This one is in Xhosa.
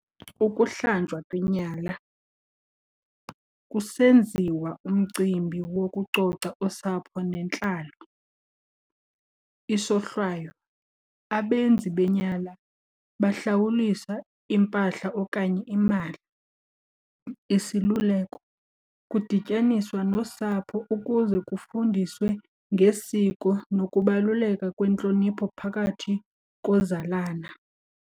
Ukuhlanjwa kwenyala, kusenziwa umcimbi wokucoca osapho nentlalo. Isohlwayo, abenzi benyala bahlawulisa impahla okanye imali. Isiluleko, kudityaniswa nosapho ukuze kufundiswe ngesiko nokubaluleka kwentlonipho phakathi kozalana.